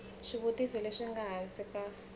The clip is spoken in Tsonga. swivutiso leswi nga hansi ka